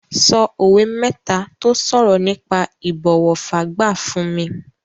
Sọ òwe mẹ́ta tó sọ̀rọ̀ nípa ìbọ̀wọ̀ fágbà fún mi.